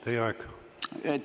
Teie aeg!